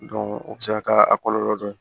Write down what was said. o bɛ se ka kɛ a kɔlɔlɔ dɔ ye